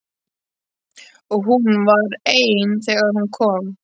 Og hún var ein þegar hún kom.